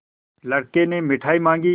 लड़के ने मिठाई मॉँगी